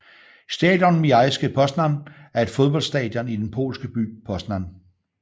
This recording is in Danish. Stadion Miejski Poznań er et fodboldstadion i den polske by Poznań